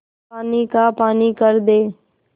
पानी का पानी कर दे